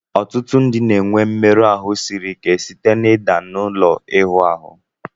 Ọtụtụ ndị na-enwe mmerụ ahụ siri ike site na ịda n'ụlọ ịwụ ahụ